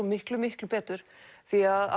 miklu miklu betur því